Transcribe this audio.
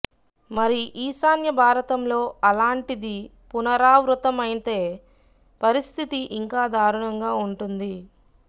మరి ఈశాన్య భారతంలో అలాంటిది పునరావృతమైతే పరిస్థితి ఇంకా దారుణంగా వుంటుంది